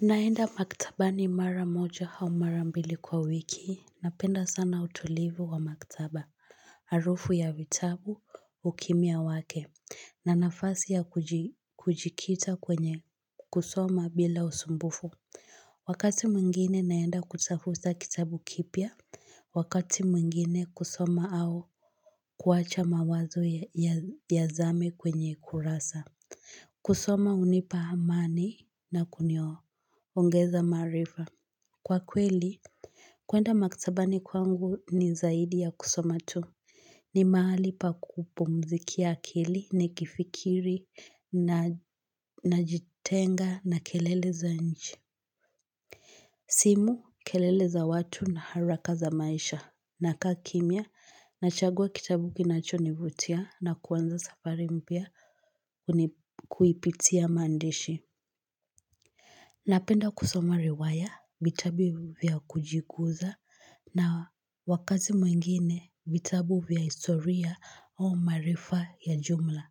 Naenda maktabani mara moja au mara mbili kwa wiki napenda sana utulivu wa maktaba harufu ya vitabu ukimya wake na nafasi ya kujikita kwenye kusoma bila usumbufu. Wakati mwingine naenda kutafuta kitabu kipya wakati mwingine kusoma au kuwacha mawazo yazame kwenye kurasa. Kusoma hunipa amani na kuniongeza maarifa. Kwa kweli, kuenda maktabani kwangu ni zaidi ya kusoma tu. Ni mahali pa kupumzikia akili nikifikiri najitenga na kelele za nchi. Simu, kelele za watu na haraka za maisha nakaa kimya, nachagua kitabu kinacho nivutia na kuanza safari mpya kuipitia maandishi. Napenda kusoma riwaya vitabu vya kujikuza na wakati mwingine vitabu vya historia au maarifa ya jumla.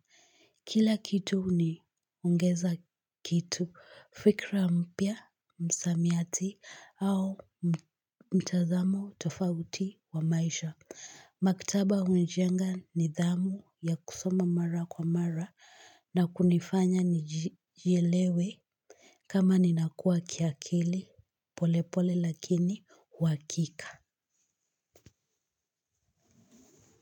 Kila kitu huniongeza kitu fikra mpya msamiati au mtazamo tofauti wa maisha. Maktaba hunijenga nidhamu ya kusoma mara kwa mara na kunifanya nijelewe kama ninakua kiakili polepole lakini uhakika.